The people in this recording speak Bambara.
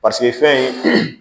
Paseke fɛn ye